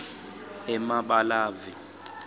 emabalave